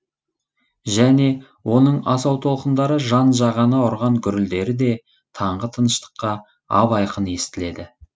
және оның асау толқындары жан жағаны ұрған гүрілдері де таңғы тыныштыққа ап айқын естіледі